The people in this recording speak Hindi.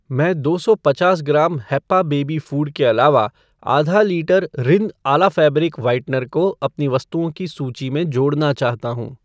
मैं दो सौ पचास ग्राम हैप्पा बेबी फ़ूड के अलावा आधा litre Rin Ala fabric whitener को अपनी वस्तुओं की सूची में जोड़ना चाहता हूँ ।